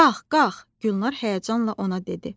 Qalx, qalx, Gülnar həyəcanla ona dedi.